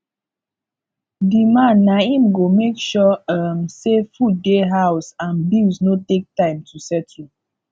di man na im go make sure um sey food dey house and bills no take time to settle